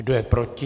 Kdo je proti?